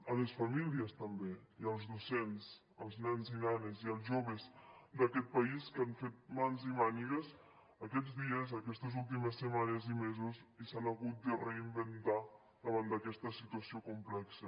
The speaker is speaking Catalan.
a les famílies també i als docents als nens i nenes i als joves d’aquest país que han fet mans i mànigues aquests dies aquestes últimes setmanes i mesos i s’han hagut de reinventar davant d’aquesta situació complexa